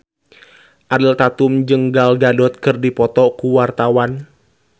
Ariel Tatum jeung Gal Gadot keur dipoto ku wartawan